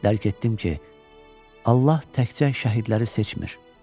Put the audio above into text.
Dərk etdim ki, Allah təkcə şəhidləri seçmir.